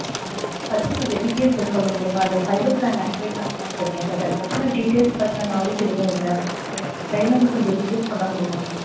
அத பத்தி details சொல்லமுடியுமா fiber plan activate பண்ணலாம்னு இருக்கேன் but அதப்பத்தின details பத்தின knowledge எதுவுமே இல்ல so உங்க side ல இருந்து details சொல்லமுடியுமா?